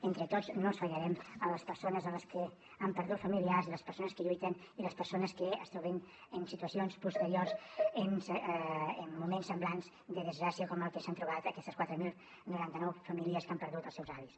entre tots no els fallarem a les persones que han perdut familiars a les persones que lluiten i a les persones que es trobin en situacions posteriors en moments semblants de desgràcia com en els que s’han trobat aquestes quatre mil noranta nou famílies que han perdut els seus avis